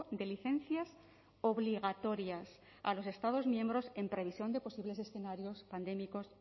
de licencias obligatorias a los estados miembros en previsión de posibles escenarios pandémicos